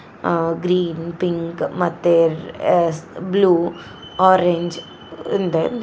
ಅ green pink ಮತ್ತೆ ರೆ- blue orange .